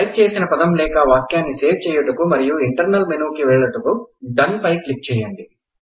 type చేసిన పదం లేకా వాక్యాన్ని సేవ్ చేయుటకు మరియు ఇంటర్నల్ మెనుకు వెళ్ళుటకు డన్ పై క్లిక్ చేయండి